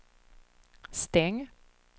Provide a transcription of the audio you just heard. stäng